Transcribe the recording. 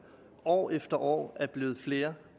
år efter år er blevet flere